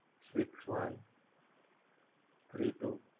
Six one three two